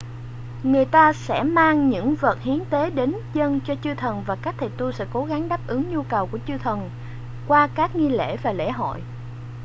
người ta sẽ mang những vật hiến tế đến dâng cho chư thần và các thầy tu sẽ cố gắng đáp ứng nhu cầu của chư thần qua các nghi lễ và lễ hội